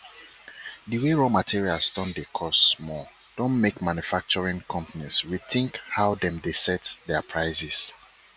di way raw materials don dey cost more don make manufacturing companies rethink how dem dey set their prices